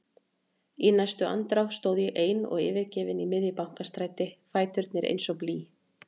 Í næstu andrá stóð ég ein og yfirgefin í miðju Bankastræti, fæturnir eins og blý.